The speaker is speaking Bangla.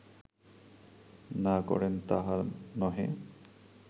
না করেন তাহা নহে